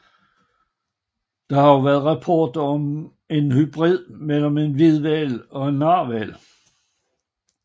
Der har også været rapporter om en hybrid mellem en hvidhval og en narhval